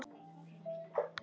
Óla, einsog yngri bræður gera.